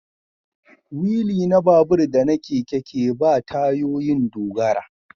Wili na babur da na keke ke ba tayoyin dogara